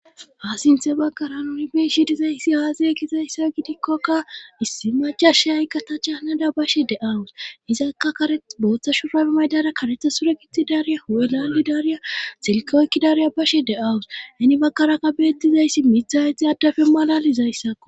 ha sinthe baggara nunibeshi dizayssi aazaye gizayssa gidikkoka issi macashe haykka ta chanada bashe de awus izakka kareth booththa shufa maydara karetha sure gitti daariya ho7elandi daariya silkooykki dariya bashe de awus heni baggaraka beettizayssi mitha hayti addafe malalizayssako